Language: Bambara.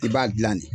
I b'a dilan de